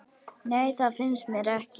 Nei, það finnst mér ekki.